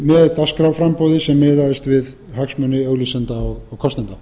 með dagskrárframboði sem miðaðist við hagsmuni auglýsenda og kostenda